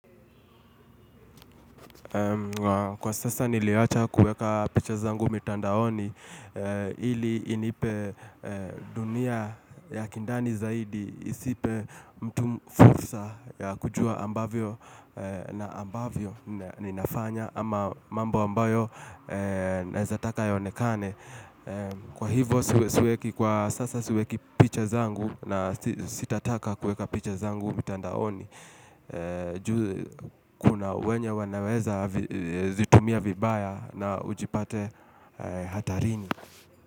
Kwa sasa niliwacha kueka picha zangu mitandaoni ili inipe dunia ya kindani zaidi isipe mtu fursa ya kujua ninavyofanya au mambo ambayo naeza taka yaonekane. Kwa hivyo siweki kwa sasa, siweki picha zangu na sitataka kuweka picha zangu mitandaoni. Kuna wengine wanaweza kuzitumia vibaya na ujipate hatarini.